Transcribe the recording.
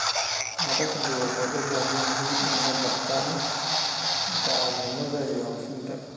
Madaxdu waxay u baahan yihiin inay bartaan daacadnimada iyo hufnaanta.